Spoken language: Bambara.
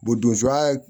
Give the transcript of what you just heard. donsoya